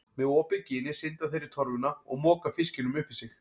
Með opið ginið synda þeir í torfuna og moka fiskinum upp í sig.